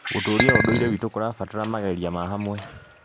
Gũtũũria ũndũire witũ kũrabatara mageria ma hamwe.